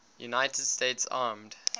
united states armed